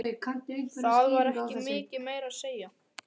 Það var ekki mikið meira að segja.